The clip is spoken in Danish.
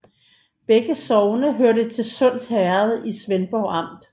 Begge sogne hørte til Sunds Herred i Svendborg Amt